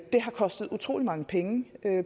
det har kostet utrolig mange penge